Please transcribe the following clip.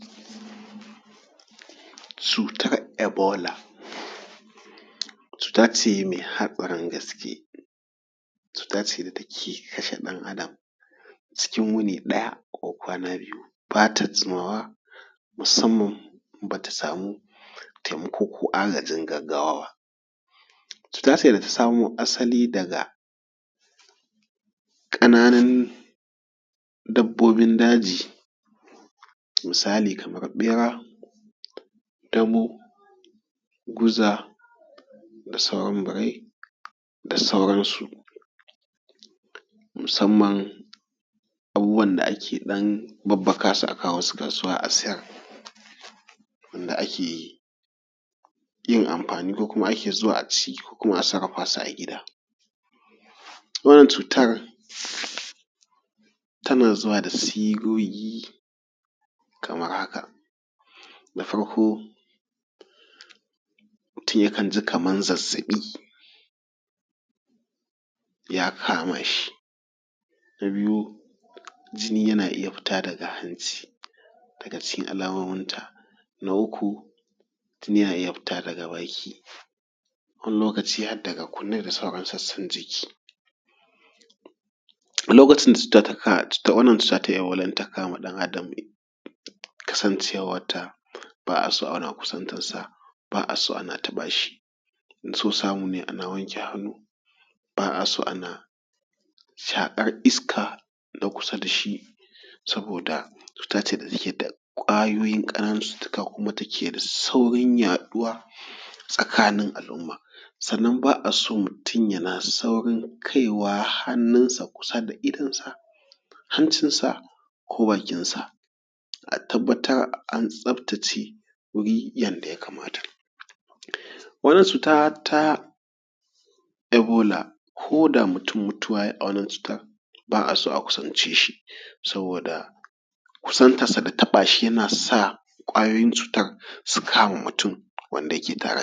Cutar ebola, cuta ce mai hatsarin gaske cuta ce da take kashe ɗan Adam cikin wuni ɗaya ko kwana biyu, ba ta jimawa musamman ba ta samu taimako ko agajin gaggawa ba. Cuta ce da ta samo asali daga ƙananun dabbobin daji misalin kamar ɓera, damo guza da sauran birai da saransu. Musamma abubuwan da ake ɗan babbaka su a kai su kasuwa a sayar, inda ake yin amfani ko ake zuwa a sayar ci ko kuma a sarrafa su a gida. Wannan cutar tana zuwa da sigogi kamar haka: na farko mutum yakan ji kamar zazzaɓi ya kama shi. Na biyu jini yana iya fita daga hanci daga cikin alamominta. Na uku jini yana iya sutarwa da baki wani lokaci har daga kunni da sauran sassan jiki. Lokaci da wanna cuta ta kama ɗan Adam kasancewar ta ba a so ana kusantar s a ba a so ana taba shi idan so samu ana so ana wanke hannu ba a ana so ana shaƙar iskar na kusa da shi, saboda cutar ce ta take da ƙananan kwayoyin cututtuka kuma take da saurin yaduwa takanin alumma. Sannan ba a so mutum yana saurin kai hannunsa kusa da idon sa hancinsa, ko bakinsa. A tabbatar an tsaftace wuri yadda ya kamata. Wannan cuta ta ebola ko da mutum mutuwa ya yi a wannan cuta ba a so a kusance shi saboda kusantar sa da taɓa shi yana sa ƙwayoyin cutar su tabe shi su kama mutum wanda ke da.